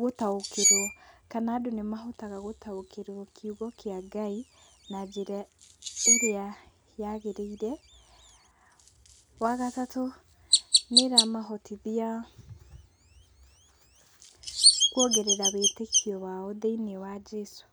gũtaũkĩrwo kana andũ nĩ mahotaga gũtaũkĩrwo kiugo kĩa Ngai na njĩra ĩrĩa yagĩrĩire. Wa gatatũ nĩ ĩramahotithia kwongerera wĩtĩkio wao thĩiniĩ wa Jesũ.